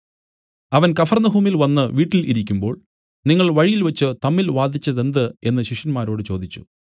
അവൻ കഫർന്നഹൂമിൽ വന്നു വീട്ടിൽ ഇരിക്കുമ്പോൾ നിങ്ങൾ വഴിയിൽവെച്ചു തമ്മിൽ വാദിച്ചതെന്ത് എന്നു ശിഷ്യന്മാരോട് ചോദിച്ചു